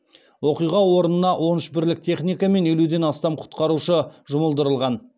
оқиға орнына он үш бірлік техника мен елуден астам құтқарушы жұмылдырылған